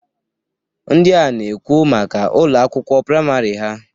Ndịa na-ekwu maka Ụlọ akwụkwọ praịmarị ha.